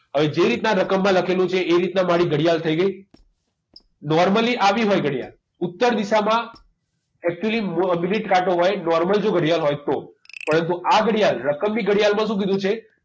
હવે જે રીતના રકમમાં લખેલું છે એ રીતના મારી ઘડિયાળ થઈ ગઈ normally આવી હોય ઘડિયાળ ઉત્તર દિશામાં actually મિનિટ કાંટો હોય normal જો ઘડિયાળ હોય તો પરંતુ આ ઘડિયાળ રકમની ઘડિયાળમાં શું કીધું છે